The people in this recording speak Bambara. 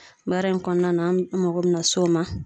Baara in kɔnɔna na an mago be na s'o ma